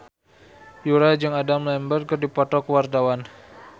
Yura jeung Adam Lambert keur dipoto ku wartawan